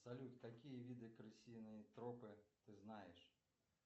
салют какие виды крысиные тропы ты знаешь